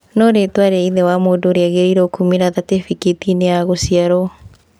No rĩtwa rĩa ithe wa mũndũ rĩagĩrĩirwo kumĩra thatĩbĩkĩti-inĩ ya gũciarwo.